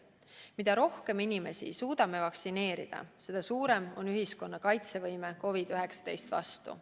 Mida rohkem inimesi suudame vaktsineerida, seda suurem on ühiskonna kaitsevõime COVID-19 vastu.